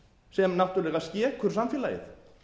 sem náttúrlega skekur samfélagið